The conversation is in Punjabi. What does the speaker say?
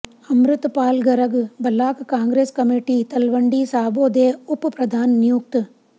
ਅੰਮਿ੍ਤਪਾਲ ਗਰਗ ਬਲਾਕ ਕਾਂਗਰਸ ਕਮੇਟੀ ਤਲਵੰਡੀ ਸਾਬੋ ਦੇ ਉਪ ਪ੍ਰਧਾਨ ਨਿਯੁਕਤ